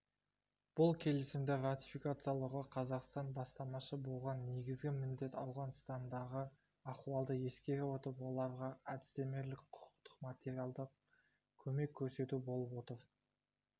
бұл келісімді ратификациялауға қазақстан бастамашы болған негізгі міндет ауғанстандағы ахуалды ескере отырып оларға әдістемелік құқықтық материалдық көмек көрсету болып отыр